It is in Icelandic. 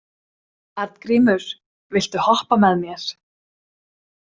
Arngrímur, viltu hoppa með mér?